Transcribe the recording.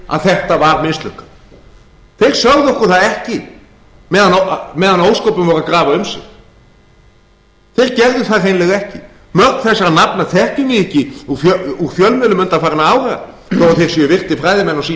að þetta var mislukkað þeir sögðu okkur það ekki meðan ósköpin voru að grafa um sig þeir gerðu það hreinlega ekki mörg þessara nafna þekkjum við ekki úr fjölmiðlum undanfarinna ára þó að þeir séu virtir fræðimenn á sínu